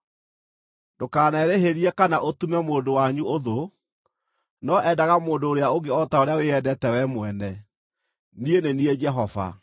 “ ‘Ndũkanerĩhĩrie kana ũtume mũndũ wanyu ũthũ, no endaga mũndũ ũrĩa ũngĩ o ta ũrĩa wĩyendete wee mwene. Niĩ nĩ niĩ Jehova.